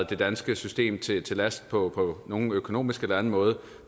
det danske system til last på nogen økonomisk eller anden måde